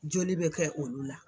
Joli bɛ kɛ olu la.